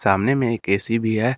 सामने में एक ए_सी भी है।